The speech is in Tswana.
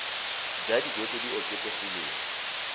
ja dijo tse di oketsegileng